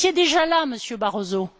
Vous étiez déjà là, Monsieur Barroso.